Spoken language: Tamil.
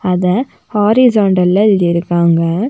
அத ஹாரிஸான்டல்ல எழுதி இருக்காங்க.